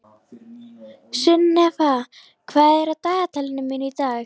Sunnefa, hvað er á dagatalinu mínu í dag?